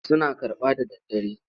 Suna karɓa da daddare?